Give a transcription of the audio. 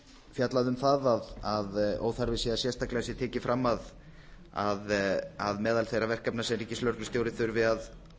fjallað um það að óþarfi sé að sérstaklega sé tekið fram að meðal þeirra verkefna sem ríkislögreglustjóri þurfi að